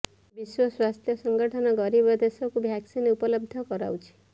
ବିଶ୍ୱ ସ୍ୱାସ୍ଥ୍ୟ ସଙ୍ଗଠନ ଗରିବ ଦେଶକୁ ଭାକସିନ୍ ଉପଲବ୍ଧ କରାଉଛି